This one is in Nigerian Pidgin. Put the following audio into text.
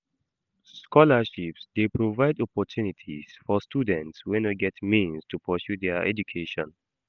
Scholarships dey provide opportunities for students wey no get means to pursue dia education.